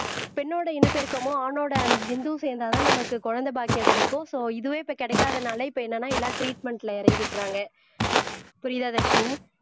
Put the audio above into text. பெண்ணோட இனப்பெருக்கமும் ஆணோட விந்தும் சேர்ந்தால்தான் நமக்கு குழந்தை பாக்கியம் கிடைக்கும் சோ இதுவே இப்ப கிடைக்காதனால இப்ப என்னன்னா எல்லாம் டிரீட்மென்ட்ல இறங்கிடறாங்க புரியுதா தர்ஷினி